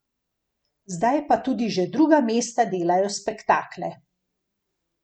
Zdaj pa tudi že druga mesta delajo spektakle.